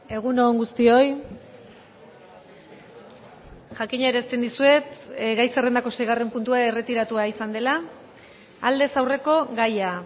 egun on guztioi jakinarazten dizuet gai zerrendako seigarren puntua erretiratua izan dela aldez aurreko gaia